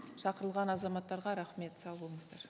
шақырылған азаматтарға рахмет сау болыңыздар